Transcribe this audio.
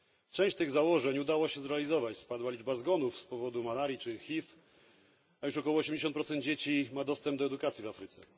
Część tych założeń udało się zrealizować spadła liczba zgonów z powodu malarii czy HIV, a już około osiemdziesiąt procent dzieci ma dostęp do edukacji w Afryce.